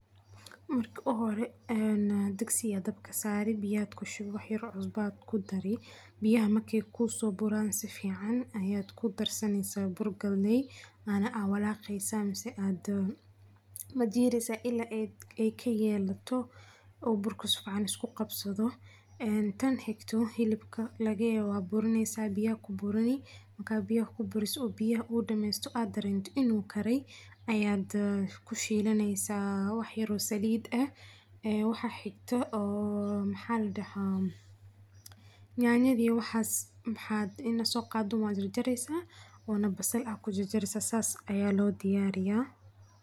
Marka uhore een digsiga ayaa dabka saari biya aa kushubi wax yar cusba aad kudari biyaha marki kusooburaan sifican ayaad kudarsaneysa bur galey ana walaqeysa mise aad majiireysa ila ey kayeelato oo burku sifican iskuqabsadho een tan xigto xilibka lageyo waad burineysa biya aad kuburini markad biyaha kuburiso biyaha uu damesto aad dareento in uu kare aad kushiilaneysa wax yar oo salid ah waxa xigta oo maxa ladaha nyanya iyo waxas maxaad inaad soqaado wad jareysa wana basal ayaa kujajareysa saas ayaa lodiyaariya.